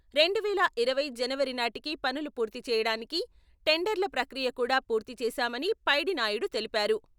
రెండు వేల ఇరవై జనవరి నాటికి పనులు పూర్తి చేయడానికి టెండర్ల ప్రక్రియ కూడా పూర్తి చేశామని పైడినాయుడు తెలిపారు.